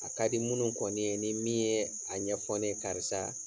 A kadi munnu kɔni ye ni min yee a ɲɛfɔ ne karisa